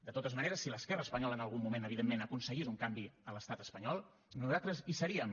de totes maneres si l’esquerra espanyola en algun moment evidentment aconseguís un canvi a l’estat espanyol nosaltres hi seríem